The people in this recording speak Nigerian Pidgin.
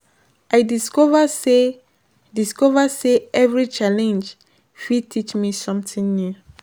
I discover say discover say every challenge fit teach me something new.